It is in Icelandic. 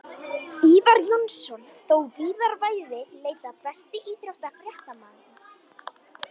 Ívar Jónsson og þó víðar væri leitað Besti íþróttafréttamaðurinn?